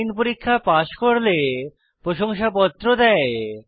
online পরীক্ষা pass করলে প্রশংসাপত্র দেয়